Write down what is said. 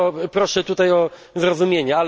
Proszę tutaj o zrozumienie.